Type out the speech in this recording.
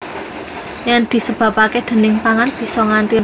Yen disebabake déning pangan bisa nganti rong jam